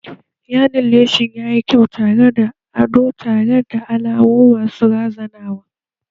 Yaɗin leshin yayi kyau da kayan ado tare da alamu masu razanawa